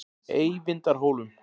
Eyvindarhólum